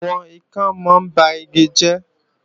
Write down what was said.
Àwọn ikán mọ ń ba igi jẹ́